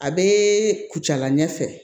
A bɛ kucala ɲɛ fɛ